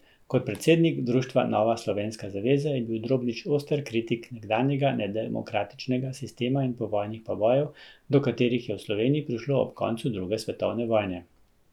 Kot predsednik društva Nova Slovenska zaveza je bil Drobnič oster kritik nekdanjega nedemokratičnega sistema in povojnih povojev, do katerih je v Sloveniji prišlo ob koncu druge svetovne vojne.